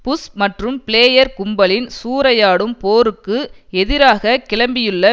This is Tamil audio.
புஷ் மற்றும் பிளேயர் கும்பலின் சூறையாடும் போருக்கு எதிராக கிளம்பியுள்ள